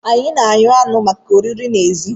Anyi na-eghe anụ maka oriri n'èzí.